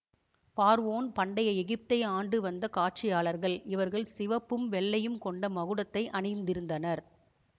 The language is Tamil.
பார்வோன் பண்டைய எகிப்தை ஆண்டு வந்த ஆட்சியாளர்கள் இவர்கள் சிவப்பும் வெள்ளையும் கொண்ட மகுடத்தை அணிந்திருந்தனர்